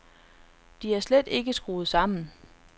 De er slet ikke skruet sammen.